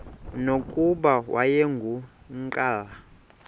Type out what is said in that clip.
nokuba wayengu nqal